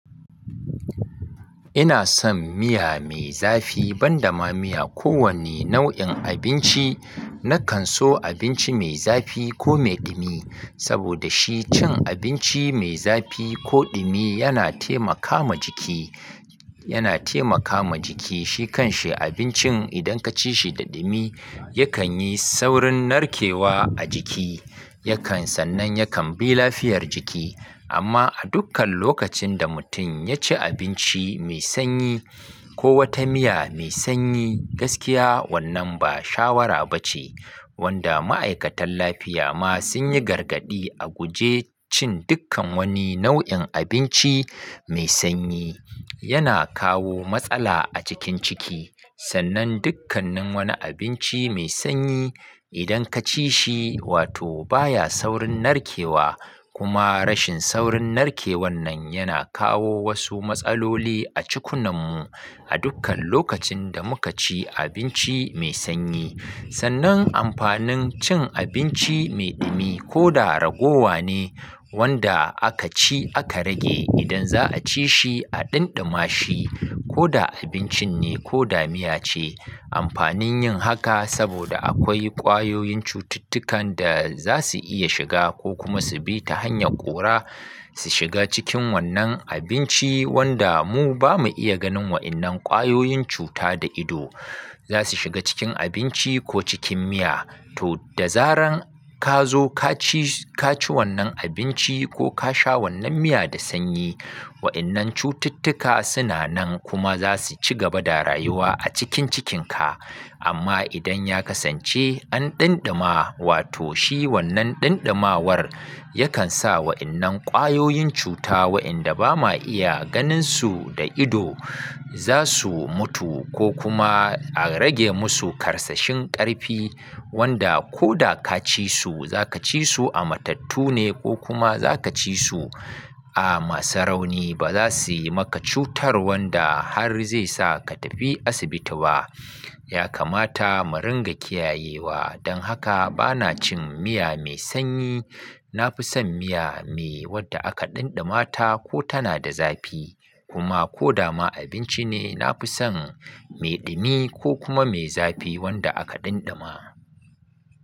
Ina son miya mai zafi ban da ma miya ko wane nau'in abinci. Na kan so abinci mai zafi ko mai dumi saboda shi cin abinci mai zafi ko dumi yana taimakama jiki, yana taimakama jiki. Shi kan shi abincin idan ka ci shi da dumi yakan yi saurin narkewa a jiki, yakan sannan yakan bi lafiyar jiki. Amma a dukkan lokacin da mutum ya ci abinci mai sanyi ko wata miya mai sanyi gaskiya wannan ba shawara ba ce. Wanda ma'aikatan lafiya ma sun yi gargadi a guje cin dukkan wani nau'in abinci mai sanyi. Yana kawo matsala a cikin ciki. Sannan dukkannin wani abinci mai sanyi idan ka ci shi wato baya saurin narkewa kuma rashin saurin narkewan nan yana kawo wasu matsaloli a cikunan mu a dukkan lokacin da muka ci abinci mai sanyi. Sannan amfanin cin abinci mai dumi ko da raguwa ne wanda aka ci aka rage idan za'a ci shi a ɗanɗama shi ko da abincin ne ko da miya ce. Amfanin yin haka saboda akwai ƙwayoyin cututtukan da za su iya shiga ko kuma su bi ta hanyar ƙura su shiga cikin wannan abinci wanda mu ba mu iya ganin wa'innan ƙwayoyin cuta da ido. Za su shiga cikin abinci ko cikin miya. To da zarar ka zo ka ci ka ci wannan abinci ko ka sha wannan miya da sanyi wa'innan cututtuka suna nan kuma za su ci gaba da rayuwa a cikin cikinka. Amma idan ya kasance an ɗanɗama wato shi wannan ɗanɗamawar yakan sa wa'innan ƙwayoyin cuta wa'inda ba ma iya ganin su da ido za su mutu ko kuma a rage musu karsashin ƙarfi wanda ko da ka ci su za ka ci su a matattu ne ko kuma za ka ci su a masu rauni ba za su yi maka cutar wanda har zai sa ka tafi asibiti ba. Yakamata mu ringa kiyayewa don haka bana cin miya mai sanyi. Na fi son miya mai wadda aka ɗanɗama ta ko tana da zafi kuma ko da ma abinci ne na fi son mai dumi ko kuma mai zafi wanda aka ɗanɗama.